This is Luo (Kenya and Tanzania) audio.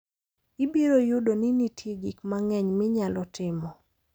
Ibiro yudo ni nitie gik mang'eny minyalo timo.